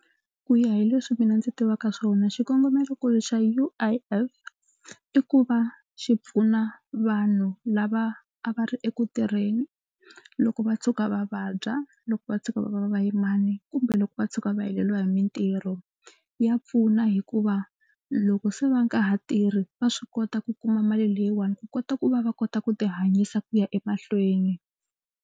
Ku ya hi leswi mina ndzi tivaka swona xikongomelonkulu xa U_I_F i ku va xi pfuna vanhu lava a va ri eku tirheni loko va tshuka va vabya, loko va tshuka va va va va vayimani kumbe loko va tshuka va heleriwa hi mitirho. Ya pfuna hikuva loko se va nga ha tirhi va swi kota ku kuma mali leyiwani ku kota ku va va kota ku tihanyisa ku ya emahlweni.